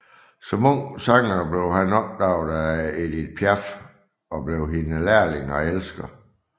Som ung sanger blev han opdaget af Edith Piaf og blev hendes lærling og elsker